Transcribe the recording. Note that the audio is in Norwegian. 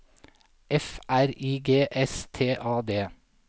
F R I G S T A D